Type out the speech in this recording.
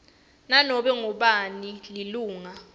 nanobe ngubani lilunga